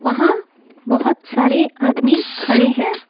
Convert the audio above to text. वहां बहुत सारे आदमी खड़े हैं।